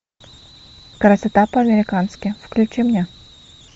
красота по американски включи мне